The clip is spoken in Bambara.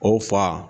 O fa